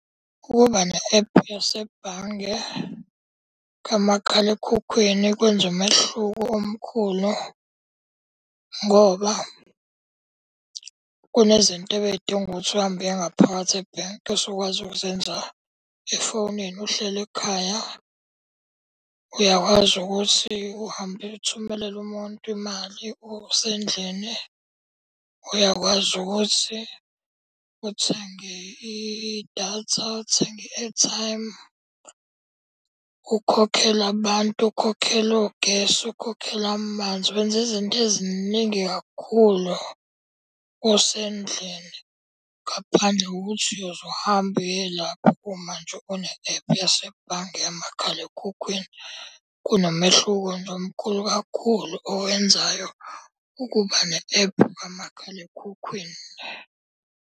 Ukuba ne-ephu yasebhange kamakhalekhukhwini kwenza umehluko omkhulu ngoba kunezinto ebey'dinga ukuthi uhambe uye ngaphakathi ebhenki osukwazi ukuzenza efonini uhleli ekhaya. Uyakwazi ukuthi uhambe uyothumelela umuntu imali usendlini. Uyakwazi ukuthi uthenge idatha, uthenge i-airtime. Ukhokhele abantu, ukhokhele ogesi, ukhokhele amanzi. Wenza izinto eziningi kakhulu usendlini ngaphandle kokuthi uyoze uhambe uye lapho uma nje une-ephu yasebhange yamakhalekhukhwini. Kunomehluko nje omkhulu kakhulu owenzayo ukuba ne-ephu kamakhalekhukhwini.